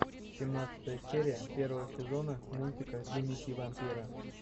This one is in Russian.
семнадцатая серия первого сезона мультика дневники вампира